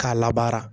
K'a labaara